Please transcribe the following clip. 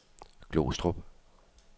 Glostrup